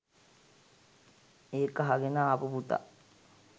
ඒක අහගෙන ආපු පුතා